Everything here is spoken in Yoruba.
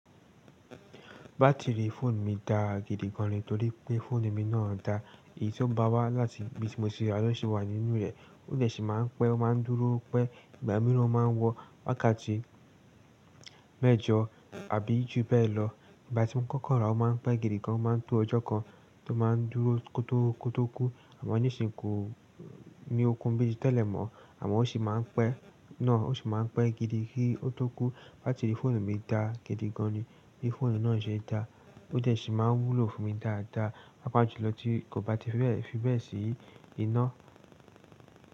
Batiri fóònù mi dà gidi gan ni torí pé fóònù mi náà dà. Èyí tó bá wá láti ibi tí mo ti rà lọ́ ṣi wà nínú rẹ̀. Ó dẹ̀ sí máa ń pẹ́, ó máa ń dúró pẹ́, ìgbà mìíràn ó máa ń wọ àkáàtì mẹ́jọ àbí jù bẹ́ẹ̀ lọ. Ìgbà tí mo ń kọ́kọ́ rà á, ó máa ń pẹ́ gidi gan, ó máa ń tó ọjọ́ kan tó máa ń dúró kótó kótó kú. Àmọ́ nísìn kò ni okun bí i tí tẹ́lẹ̀ mọ́ àmọ́ ó sì máa ń pẹ́ náà, ó sì máa ń pẹ́ gidi gidi ki ó tó kú. Batiri fóònù mi dà gidi gan ni bi fóònù náà jẹ dà. Ó dẹ̀ sì máa ń wúlo fún mi dáadáa, pàápàá jù lọ tí kò bá ti fi bẹ́ẹ̀ sí iná.